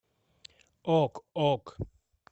ок ок